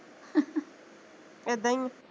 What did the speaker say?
ਏਦਾਂ ਈ ਆ